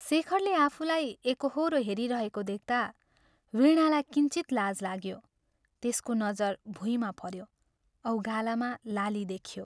शेखरले आफूलाई एकोहोरो हेरिरहेको देख्ता वीणालाई किञ्चित लाज लाग्यो त्यसको नजर भुइँमा पऱ्यो औ गालामा लाली देखियो।